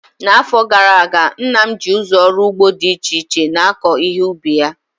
N'afọ gara aga, nna m ji ụzọ ọrụ ugbo dị iche iche na-akọ ihe ubi ya